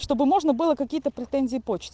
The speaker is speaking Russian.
чтобы можно было какие-то претензии почте